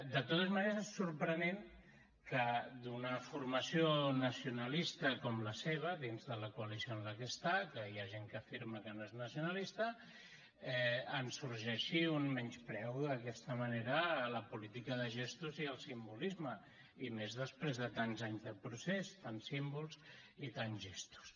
de totes maneres és sorprenent que d’una formació nacionalista com la seva dins de la coalició en la que està que hi ha gent que afirma que no és nacionalista en sorgeixi un menyspreu d’aquesta manera a la política de gestos i al simbolisme i més després de tants anys de procés tants símbols i tants gestos